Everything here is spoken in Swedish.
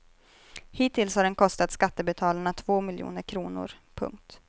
Hittills har den kostat skattebetalarna två miljoner kronor. punkt